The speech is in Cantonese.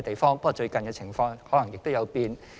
不過，最近的情況可能有變。